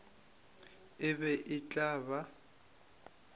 e be e tla ba